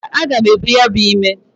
Mba, aga m ebu ya bu ime.